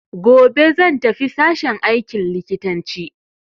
Gobe zan tafi sashen aikin likitanci.